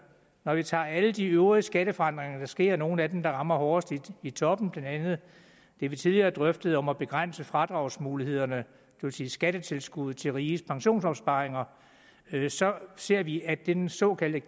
når vi tager alle de øvrige skatteforandringer der sker og nogle af dem der rammer hårdest i toppen blandt andet det vi tidligere drøftede om at begrænse fradragsmulighederne vil sige skattetilskuddet til riges pensionsopsparinger så ser vi at den såkaldte